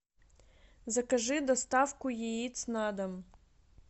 закажи доставку яиц на дом